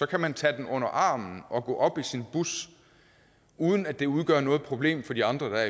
kan man tage den under armen og gå op i sin bus uden at det udgør noget problem for de andre der